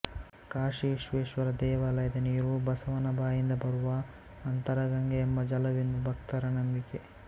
ಕಾಶಿ ವಿಶ್ವೇಶ್ವರ ದೇವಾಲಯದ ನೀರು ಬಸವನ ಬಾಯಿಂದ ಬರುವ ಅಂತರಗಂಗೆ ಎಂಬ ಜಲವೆಂದು ಭಕ್ತರ ನಂಬಿಕೆ